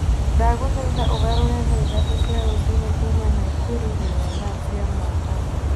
Ndagũthaitha ũgarũre thaa ithatũ cia rũcinĩ kuuma Nakuru nginya thaa cia mombatha